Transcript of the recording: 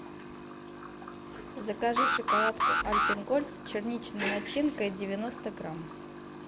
закажи шоколадку альпен гольд с черничной начинкой девяносто грамм